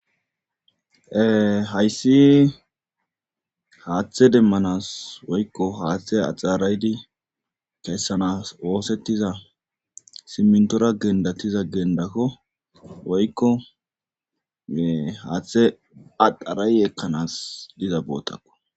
Ee hayssi haathe demmanas woykko haathe axxara7idi kessanaaas oosettiza simmintora keexetiza gimbbeko woykko haathe axxara7idi ekkanaw diza boota